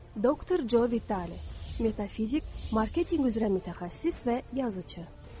Doktor Co Vitale, metafizik, marketinq üzrə mütəxəssis və yazıçı.